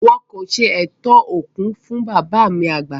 Wọn kò ṣe ètò òkú fún bàbá mi àgbà